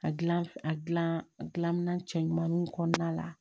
A gilan a gilan a gilan cɛ ɲumanw kɔnɔna la